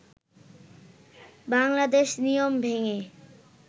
বাংলাদেশ নিয়ম ভেঙে